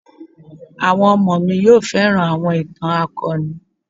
Àwọn ọmọ mi yóò fẹ́ràn àwọn ìtàn akọni.